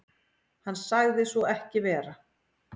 Hann sagði svo ekki vera.